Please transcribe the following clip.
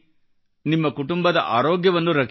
ನಿಮ್ಮ ಕುಟುಂಬದ ಆರೋಗ್ಯವನ್ನು ರಕ್ಷಿಸಿ